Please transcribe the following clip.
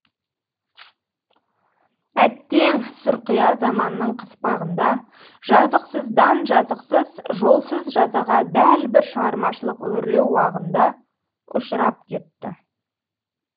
әттең сұрқия заманның қыспағында жазықсыздан жазықсыз жолсыз жазаға дәл бір шығармашылық өрлеу уағында ұшырап кетті